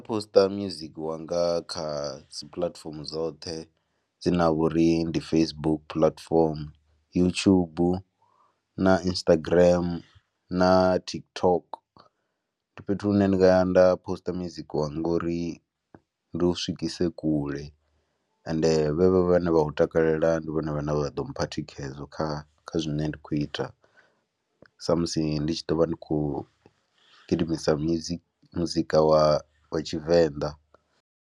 Poster music wanga kha dzi puḽatifomo dzoṱhe dzine ha vha uri ndi Facebook, puḽatifomo YouTube na Instagram na TikTok ndi fhethu hune ndi nga ya nda poster music uri ndi u swikise kule ende vhevho vhane vha u takalela ndi vhone vhane vha ḓo mpha thikhedzo kha kha zwine nda khou ita sa musi ndi tshi ḓo vha ndi khou gidimisa music muzika wa wa Tshivenḓa.